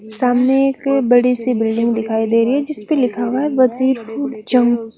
सामने एक बड़ी सी बिल्डिंग दिखाई देरी है जिसपे लिखा हुआ है--